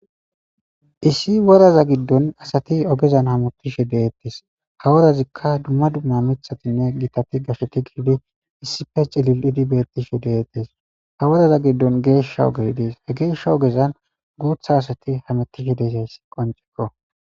issi woraza giddon asati ogezan hametishe deettis haworazikka dumma dumma mithatinne giitati gasheti giidi issife cilil idi bettishe deettes ha woraza giddon geeshsha ogey dees he geeshsha ogezan guutha asati hametishe deeshayssi qoncekko